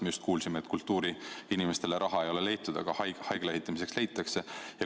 Me just kuulsime, et kultuuriinimestele raha ei ole leitud, aga haigla ehitamiseks leitakse.